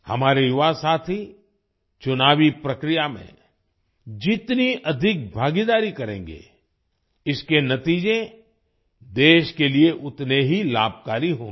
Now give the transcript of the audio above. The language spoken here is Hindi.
हमारे युवासाथी चुनावी प्रक्रिया में जितनी अधिक भागीदारी करेंगे इसके नतीजे देश के लिए उतने ही लाभकारी होंगे